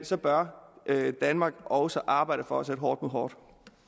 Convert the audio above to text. så bør danmark også arbejde for at sætte hårdt hårdt